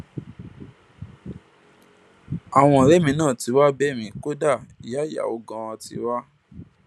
àwọn ọrẹ mi náà tí tí wàá bẹ mí kódà ìyá ìyàwó ganan ti wá